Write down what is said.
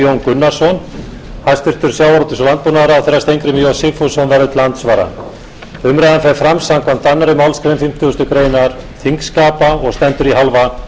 gunnarsson hæstvirtum sjávarútvegs og landbúnaðarráðherra steingrímur j sigfússon verður til andsvara umræðan fer fram samkvæmt annarri málsgrein fimmtugustu grein þingskapa og stendur í hálfa klukkustund